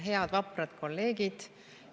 Head vaprad kolleegid!